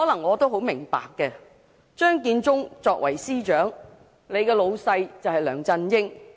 我很明白張建宗作為司長，上司就是梁振英。